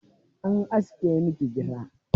An aske miki gira?